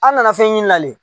An nana fɛn ɲini la le.